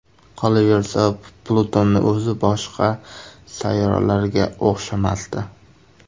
Qolaversa, Plutonning o‘zi boshqa sayyoralarga o‘xshamasdi.